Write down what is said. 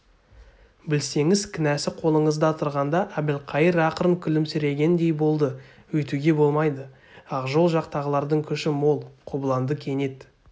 білсеңіз кінәсі қолыңызда тұрғанда әбілқайыр ақырын күлімсірегендей болды өйтуге болмайды ақжол жақтағылардың күші мол қобыланды кенет